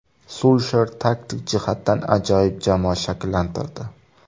Sulsher taktik jihatdan ajoyib jamoa shakllantirdi.